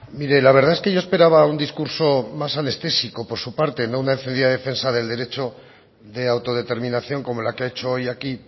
mire la verdad es que yo esperaba un discurso más anestésico por su parte no una encendida defensa del derecho de autodeterminación como la que ha hecho hoy aquí